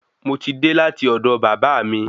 Moti dé láti ọdọ bàba bàbá mi